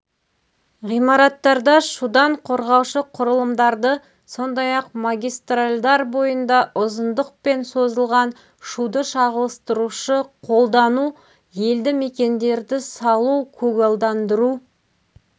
ғимараттарда шудан қорғаушы құрылымдарды сондай-ақ магистральдар бойында ұзындықпен созылған шуды шағылыстырушы қолдану елді мекендерді салу көгалдандыру